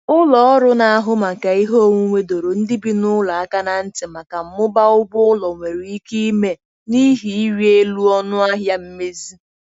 Ụlọ ọrụ na-ahụ maka ihe onwunwe dọrọ ndị bi n'ụlọ aka ná ntị maka mmụba ụgwọ ụlọ nwere ike ime n'ihi ịrị elu ọnụ ahịa mmezi.